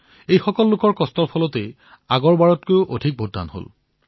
তেওঁলোকৰ কঠোৰ পৰিশ্ৰমৰ ফলতেই এইবাৰ পিছৰবাৰতকৈ অধিক ভোটদান হল